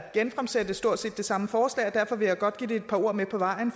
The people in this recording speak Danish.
genfremsætte stort set det samme forslag og derfor vil jeg godt give det et par ord med på vejen